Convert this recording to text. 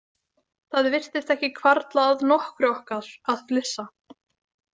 Það virtist ekki hvarfla að nokkru okkar að flissa.